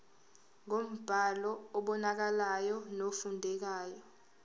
ngombhalo obonakalayo nofundekayo